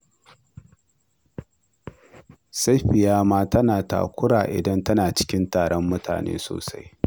Safiya ma tana takura idan tana cikin taron mutane sosai